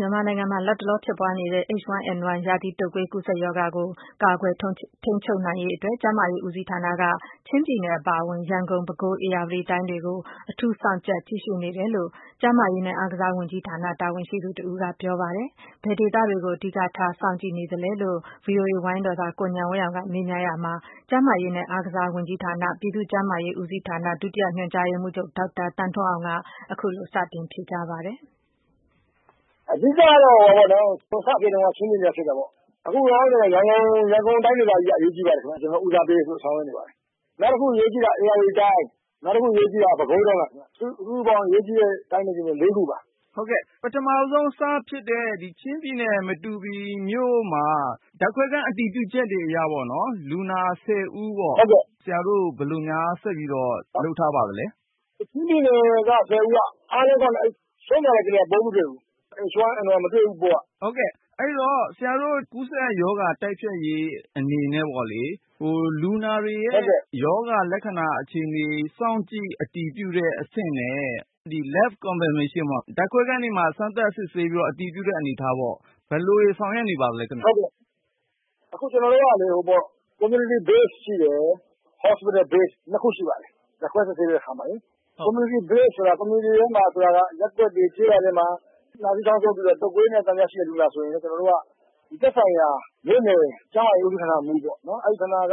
မြန်မာနိုင်ငံမှာ လတ်တလော ဖြစ်ပွားနေတဲ့ H1N1 ရာသီတုပ်ကွေး ကူးစက်ရောဂါကိုကာကွယ်ထိန်းချုပ်နိုင်ရေးအတွက် ကျန်းမာရေး ဦးစီးဌာနက ချင်းပြည်နယ် အပါအဝင်၊ ရန်ကုန်၊ ပဲခူး၊ ဧရာဝတီတိုင်းတွေကို အထူးစောင့်ကြပ် ကြည့်ရှုနေတယ်လို့ ကျန်းမာရေးနဲ့ အားကစား ဝန်ကြီးဌာန တာဝန်ရှိသူတဦးက ပြောပါတယ်။ ဘယ်ဒေသတွေကို အဓိကထား စောင့်ကြည့်နေပါသလဲလို့ VOA ဝိုင်းတော်သား ကိုဉာဏ်ဝင်းအောင်က မေးမြန်းရာမှာ ကျန်းမာရေးနဲ့ အားကစားဝန်ကြီးဌာန ပြည်သူ့ကျန်းမာရေး ဦးစီးဌာန ဒုညွှန်/ချုပ် ဒေါက်တာ သန်းထွန်းအောင်က ခုလို စတင်ဖြေကြားပါတယ်။ အဓိကတော့ စဖြစ်တုန်းကတော့ ချင်းပြည်နယ်မှာ စဖြစ်တယ်ပေါ့နော် အခုလောလောဆယ် ရန်ကုန်တိုင်းဒေသကြီးက အရေးကြီးပါတယ်ခင်ဗျာ။ ကျနော်တို့ ဦးစားပေးဆောင်ရွက်နေပါတယ်။ နောက်တခုအရေးကြီးတာက ဧရာဝတီတိုင်း၊ ပဲခူးတိုင်းပါခင်ဗျ။ စုစုပေါင်း အရေးကြီးတဲ့ တိုင်းနဲ့ ပြည်နယ် ၄ ခုပါ။ ပထမဦးဆုံးစဖြစ်တဲ့ ချင်းပြည်နယ် မတူပီမြို့မှာ ဓါတ်ခွဲခန်းအတည်ပြုချက်အရ လူနာ ၁၀ ဦးပေါ့နော် ဆရာတို့ဘယ်လိုများဆက်ပြီးတော့ လုပ်ထားပါသလဲ။ ချင်းပြည်နယ် ၁၀ ဦးက အားလုံးကောင်းတယ်။ ဒါပေမယ့် ဆုံးသွားတဲ့ ကလေးကတော့ H1N1 ပိုးမတွေ့ဘူး။ ဟုတ်ကဲ့ဆရာတို့ ကူးစက်ရောဂါတိုက်ဖျက်ရေး အနေနဲ့ကပေါ့လေ ၊ လူနာတွေရဲ့ ရောဂါလက္ခဏာအခြေအနေ စောင့်ကြည့်အတည်ပြုတဲ့အဆင့်နဲ့ Lab confirmation ဓါတ်ခွဲခန်းတွေမှာ စမ်းသပ်စစ်ဆေးအတည်ပြုတဲ့အနေအထားပေါ့ ဘယ်လိုတွေ ဆောင်ရွက်နေပါသလဲ။ အခု ကျနော်တို့ကလေ Community base ရှိတယ် ၊ Hospital Base ၂ ခုရှိပါတယ်။ ဓါတ်ခွဲစစ်ဆေးတဲ့အခါမှာလေ Community base ဆိုတာက Community ထဲမှာဆိုတာက ရပ်ကွက်တွေ၊ ကျေးရွာတွေ မှာ နှာဆေးခေါင်းဆိုးပြီးတော့ တုပ်ကွေးနဲ့ ဆက်စပ်တဲ့ လူနာတွေဆိုရင် ကျနော်တို့က သက်ဆိုင်ရာ မြို့နယ် ကျန်းမာရေးဌာနဦးစီးဌာန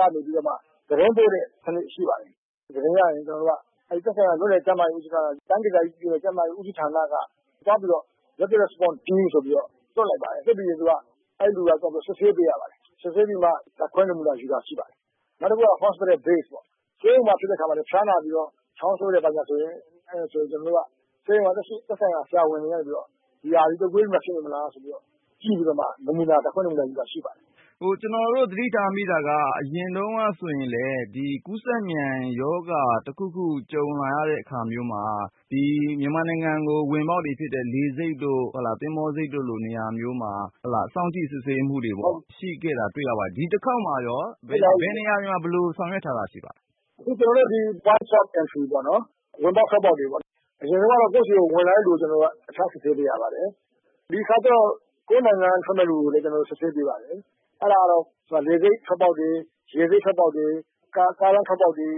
ကနေ ပြီးတော့မှ သတင်းပို့တဲ့စနစ်ရှိပါတယ်။ သတင်းရရင် သက်ဆိုင်ရာ မြို့နယ် ကျန်းမာရေးဌာနဦးစီးဌာန ကနေ တိုင်းဒေသကြီး ပြည်နယ်ကျန်းမာရေးဌာနဦးစီးဌာန ကနေ သွားပြီးတော့ Rapid response Team ဆိုပြီးတော့ လွှတ်လိုက်ပါတယ်။ လွှတ်ပြီးရင်သူက သွားပြီးတော့ စစ်ဆေးပေးရပါတယ်။ စစ်ဆေးပြီးမှ ဓါတ်ခွဲနမူနာယူတာ ရှိပါတယ်။ နောက်တခုက Hospital Baseပေါ့ ဆေးရုံမှာဖြစ်တဲ့အခါမှာလည်း ဖျားနာပြီးတော့ ချောင်းဆိုးတယ် ဘာညာဆိုရင် ကျနော်တို့က ဆေးရုံကနေ သက်ဆိုင်ရာ ဆရာဝန်ကနေ ရာသီတုပ်ကွေးတွေဖြစ်နေမလား ဆိုပြီးတော့ ကြည့်ပြီးတော့ ဓါတ်ခွဲနမူနာယူတာတွေရှိပါတယ်။ ကျနော်တို့ သတိထားမိတာက အရင်တုန်းကဆိုရင်လည်း ဒီကူးစက်မြန်ရောဂါတခုခုကို ကြုံလာရတဲ့ အခါမျိုးမှာ မြန်မာနိုင်ငံကို ဝင်ပေါက်တွေဖြစ်တဲ့ လေဆိပ်တို့၊ သဘောၤဆိပ်တို့လိုနေရာမျိုးမှာ စောင့်ကြည့်စစ်ဆေးမှုတွေ ရှိပါတယ်။ ဒီတခေါက်မှာရော ဘယ်နေရာတွေမှာ ဘယ်လိုဆောင်ရွက်ထားတာရှိပါသလဲ။ အခုကျနေ်ာတို့ဒီ airport entry ဝင်ပေါက်၊ထွက်ပေါက်တွေပေါ့နော် အရင်တုန်းကတော့ ကိုယ့်ဆီကို ဝင်လာတဲ့လူတွေကို စစ်ဆေးနေရပါတယ်။ ဒီတခါကျတော့ ကိုယ့်နိုင်ငံက ထွက်မယ့်လူတွေကိုလည်း စစ်ဆေးပေးပါတယ်။ အဲဒါကတော့ လေဆိပ်ထွက်ပေါက်တွေ၊ ရေဆိပ်ထွက်ပေါက်တွေ ၊ ကားလမ်းထွက်ပေါက်တွေ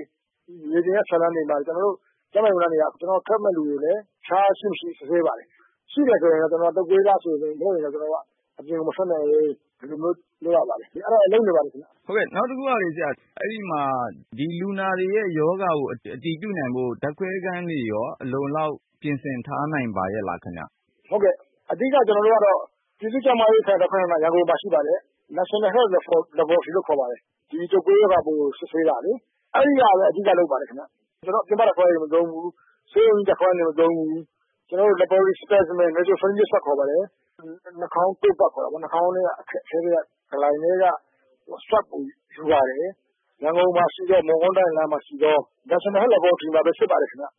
မြေပြင်ဖြတ်လမ်းတွေမှာလည်း ကျနော်တို့ ကျန်းမာရေး ဝန်ထမ်းတွေက ကျနော်တို့ ထွက်မယ့်လူတွေကိုလည်း အဖျားရှိမရှိစစ်ဆေးပါတယ်။ ရှိတယ်ဆိုရင်တော့ ကျနော်တို့က တုပ်ကွေးလားဆိုပြီးတော့ ကျနော်တို့က အပြင်ကို မထွက်နဲ့ ဦး ၊ ဒီလိုမျိုးလုပ်နေပါတယ်ခင်ဗျ။ နောက်တခုက လူနာတွေရဲ့ရောဂါကို အတည်ပြုနိုင်ဖို့ ဓါတ်ခွဲခန်းတွေလည်း အလုံအလောက် ပြင်ဆင်ထားနိုင်ပါရဲ့လားခင်ဗျ။ ဟုတ်ကဲ့အဓိကတော့ ကျနော်တို့က ပြည်သူ့ကျန်းမာရေးဌာန ရန်ကုန်မှာရှိပါတယ်။ National Health laboratory လို့ခေါ်ပါတယ်။ ဒီတုပ်ကွေးကို စစ်ဆေးတာလေ။ အဲဒီမှာပဲ အဓိကလုပ်ပါတယ်။ ဆိုတော့ ပြင်ပ laboratory မသုံးဘူး ၊ ဆေးရုံကြီး ဓါတ်ခွဲခန်း တွေမှာမသုံးဘူး။ နှာခေါင်း ထဲကနေ နမှုနာအစ ကိုယူပါတယ်။ ရန်ကုန်မှာရှိတဲ့ National Health laboratory မှာပဲ စစ်ပါတယ်ခင်ဗျ။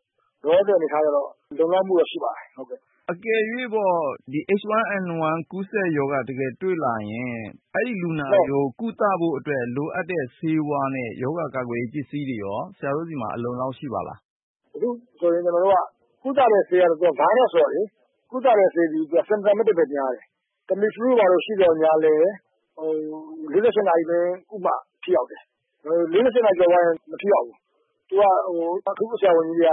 လောလောဆည်အနေအထားကတော့ လုံလောက်မှုတွေတော့ရှိပါတယ်။ အကယ်၍ H1N1 ကူးစက်ရောဂါတကယ်တွေ့လာရင် လူနာတွေကို ကုသဖို့အတွက် လိုအပ်တဲ့ဆေးဝါးနဲ့ ရောဂါကာကွယ်ရေးပစ္စည်းတွေရော ဆရာတို့ဆီမှာ အလုံအလောက်ရှိပါသလား။ Tamiflu တို့ ဘာတို့ ရှိသော်လည်း ၄၈ နာရီအတွင်း ကုသမှထိရောက်မယ်။ ၄၈ နာရီကျော်သွားရင် မထိရောက်ဘူး။ အထူးကု ဆရာဝန်ကြီးတွေ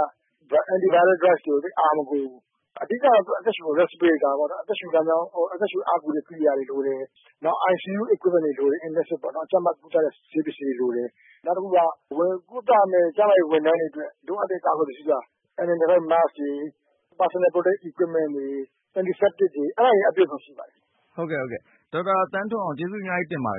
က antiviral drug ကို သိပ်အားမကိုးဘူး။ အဓိက အသက်ရှု အားကူတဲ့ ကိရိယာတွေလိုတယ်။ နောက် ICU equipment တွေလိုတယ်။ Intensive ကြပ်မက်ကုသတဲ့ ဆေးပစ္စည်းကိရိယာတွေ လိုတယ်။ နောက်တခုက ကုသမယ့် ကျန်းမာရေးဝန်ထမ်းတွေအတွက် လိုအပ်တဲ့ ကာကွယ်ရေးပစ္စည်းက mask တွေ၊ တဦးချင်းအကာအကွယ်ယူဖို့ ပစ္စည်းတွေ၊ anti septic တွေ အပြည့်အစုံ ရှိရပါမယ်။ ဟုတ်ကဲ့ ဒေါက်တာ သန်းထွန်းအောင် ကျေးဇူးအများကြီးတင်ပါတယ်